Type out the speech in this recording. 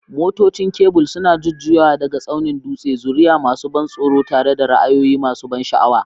Motocin kebul suna jujjuyawa daga tsaunin dutse, zuriya masu ban tsoro tare da ra'ayoyi masu ban sha'awa.